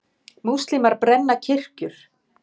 Múslímar brenna kirkjur